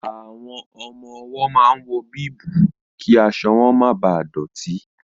Àwọn ọmọ-ọwọ́ máa ń wọ bíìbù kí aṣọ wọn máa bà dọ̀tí